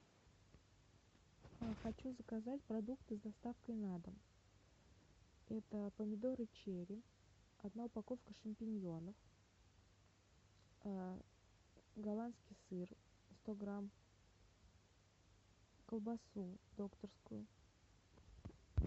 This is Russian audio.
хочу заказать продукты с доставкой на дом это помидоры черри одна упаковка шампиньонов голландский сыр сто грамм колбасу докторскую